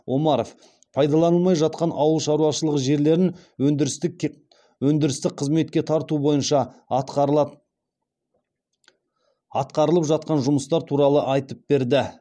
омаров пайдаланылмай жатқан ауыл шаруашылығы жерлерін өндірістік қызметке тарту бойынша атқарылып жатқан жұмыстар туралы айтып берді